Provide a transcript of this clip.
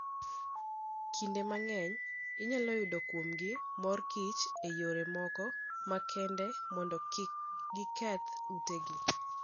Kinde mang'eny, inyalo yud kuomgi mor kich e yore moko makende mondo kik giketh utegi.